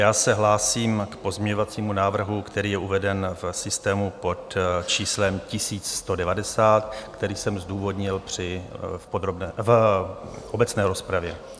Já se hlásím k pozměňovacímu návrhu, který je uveden v systému pod číslem 1190, který jsem zdůvodnil v obecné rozpravě.